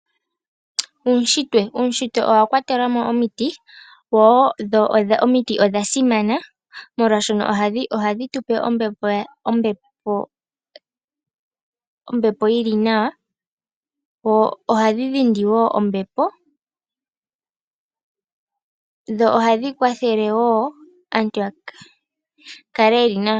Uushitwe, uushitwe owakwatelamo omiti dho omiti odha simana molwashoka oha dhitupe ombepo yili nawa, dho ohadhi dhindi woo ombepo, dho ohadhi kwathale woo aantu yakale yeli nawa.